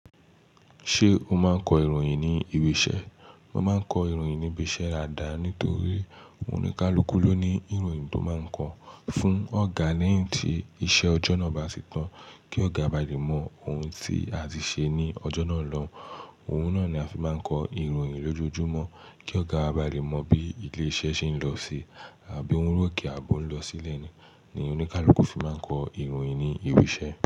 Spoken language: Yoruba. Ṣé o máa ń kọ ìròyìn ní ibi iṣẹ́? Mo máa ń kọ ìròyìn ní ibi iṣẹ́ daadàá nítorí oníkálukú ló ní ìròyìn tó máa ń kọ fún ọ̀gá lẹ́yìn tí iṣẹ́ ọjọ́ náà bá ti tán kí ọ̀gá a ba lè mọ ohun tí a ti ṣe ní ọjọ́ náà lọ. Ohun náà ni a fi máa ń kọ ìròyìn lójoojúmọ́ kí ọ̀gá wa ba lè mọ bí ilé iṣẹ́ ṣe ń lọ sí àbí ohun rokẹ̀ àbi ọ̀ ń lọ sílẹ̀ ni. Ni oníkálukú fi máa ń kọ ìròyìn ní ibi iṣẹ́